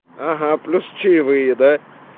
угу плюс чаевые да